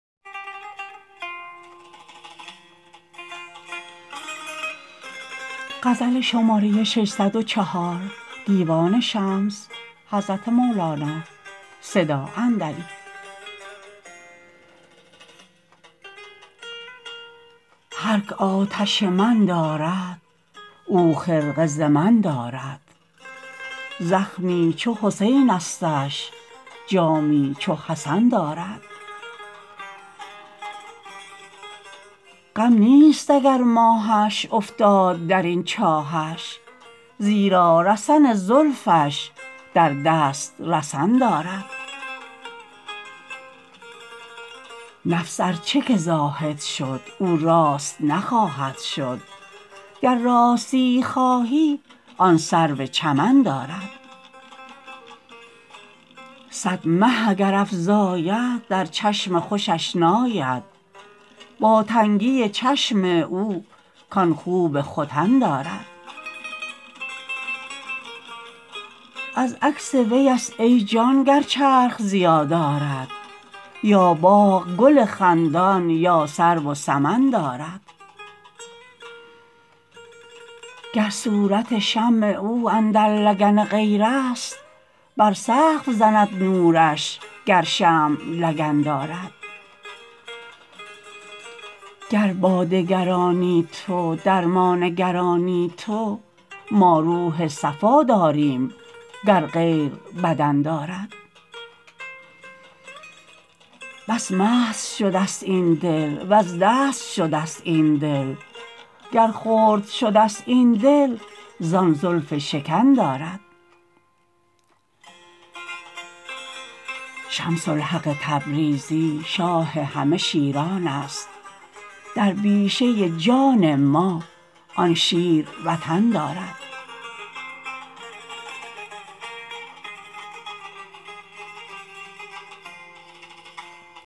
هرک آتش من دارد او خرقه ز من دارد زخمی چو حسینستش جامی چو حسن دارد غم نیست اگر ماهش افتاد در این چاهش زیرا رسن زلفش در دست رسن دارد نفس ار چه که زاهد شد او راست نخواهد شد گر راستیی خواهی آن سرو چمن دارد صد مه اگر افزاید در چشم خوشش ناید با تنگی چشم او کان خوب ختن دارد از عکس ویست ای جان گر چرخ ضیا دارد یا باغ گل خندان یا سرو و سمن دارد گر صورت شمع او اندر لگن غیرست بر سقف زند نورش گر شمع لگن دارد گر با دگرانی تو در ما نگرانی تو ما روح صفا داریم گر غیر بدن دارد بس مست شدست این دل وز دست شدست این دل گر خرد شدست این دل زان زلف شکن دارد شمس الحق تبریزی شاه همه شیرانست در بیشه جان ما آن شیر وطن دارد